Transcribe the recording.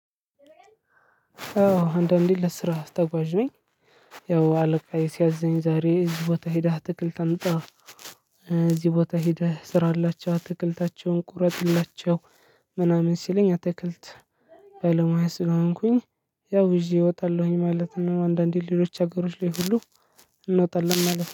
አዎ አንዳንዴ ለስራ ተጓዥ ነኝ። ያው አለቃዬ ሲያዘኝ ዛሬ እዚህ ቦታ ሄደህ አትክልት አምጣ እዚህ ቦታ ሄደህ ስራ ላቸው ትክልታቸውን ቁረጥላቸው ምናምን ሲለኝ አትክልት ባለሙያ ስለሆንኩኝ ያው ይዤ እወጣለሁኝ ማለት ነው። አንዳንዴ ሌሎች አገሮች ላይ ሁሉ እንወጣለን ማለት ነው።